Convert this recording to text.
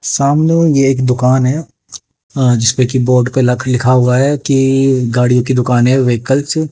सामने एक दुकान है जिसपे की बोर्ड पे लख लिखा हुआ है कि गाड़ियों की दुकान है व्हीकल्स --